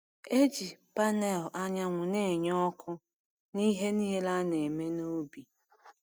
Eji panẹl anyanwụ na-enye ọkụ n’ihe niile a na-eme n’ubi.